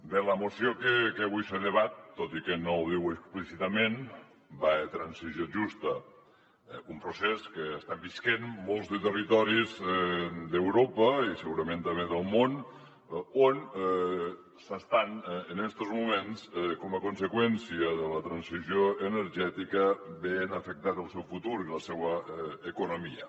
bé la mo ció que avui se debat tot i que no ho diu explícitament va de transició justa un procés que estem vivint molts de territoris d’europa i segurament també del món on s’estan en estos moments com a conseqüència de la transició energètica veient afectats el seu futur i la seua economia